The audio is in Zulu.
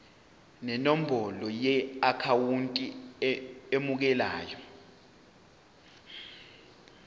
nenombolo yeakhawunti emukelayo